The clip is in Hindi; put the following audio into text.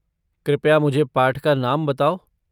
कृपया मुझे पाठ का नाम बताओ।